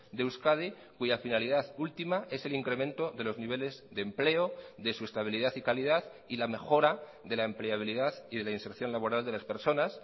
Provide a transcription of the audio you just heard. de euskadi cuya finalidad última es el incremento de los niveles de empleo de su estabilidad y calidad y la mejora de la empleabilidad y de la inserción laboral de las personas